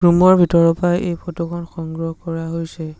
Room ৰ ভিতৰৰ পৰা এই ফটো খন সংগ্ৰহ কৰা হৈছে।